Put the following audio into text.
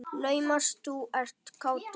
Naumast þú ert kátur.